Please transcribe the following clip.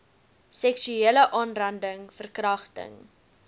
seksuele aanranding verkragting